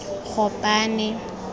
gopane